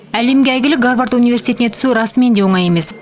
әлемге әйгілі гарвард университетіне түсу расымен де оңай емес